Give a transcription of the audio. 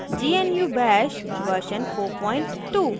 gnu bash version 42